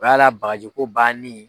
U y'a la bagajiko banni ye.